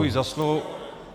Děkuji za slovo.